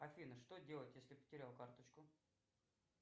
афина что делать если потерял карточку